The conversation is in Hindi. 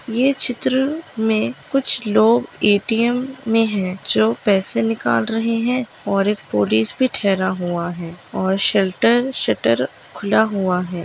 ये चित्र मे कुछ लोग ए.टी.एम. मे है जो पैसे निकाल रहे है और एक पुलिस भी टहरा हुआ है और शर्टर शटर खुला हुआ है।